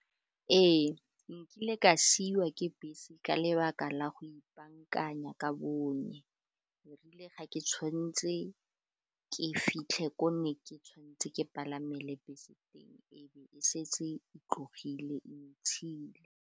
Ee, nkile ka siwa ke bese ka lebaka la go ipaakanya ka , erile ga ke tshwan'tse ke fitlhe ko ne ke tshwan'tse ke palamele bese teng, e be e setse e tlogile e ntshile.